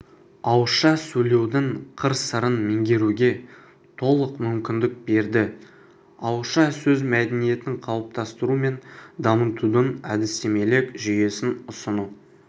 ауызша сөйлеудің қыр-сырын меңгеруге толық мүмкіндік берді ауызша сөз мәдениетін қалыптастыру мен дамытудың әдістемелік жүйесін ұсыну